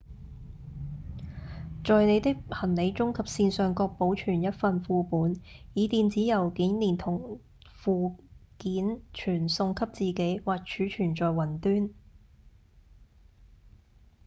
在您的行李中及線上各保存一份副本以電子郵件連同附件傳送給自己或儲存在「雲端」